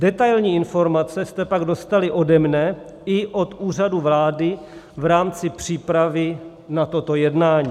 Detailní informace jste pak dostali ode mne i od Úřadu vlády v rámci přípravy na toto jednání.